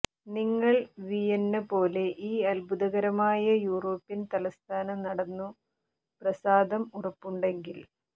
നിങ്ങൾ വിയന്ന പോലെ ഈ അത്ഭുതകരമായ യൂറോപ്യൻ തലസ്ഥാന നടന്നു പ്രസാദം ഉറപ്പുണ്ടെങ്കിൽ